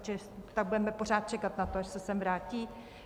To budeme pořád čekat na to, až se sem vrátí?